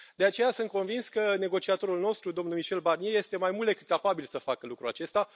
De aceea, sunt convins că negociatorul nostru, domnul Michel Barnier este mai mult decât capabil să facă lucrul acesta.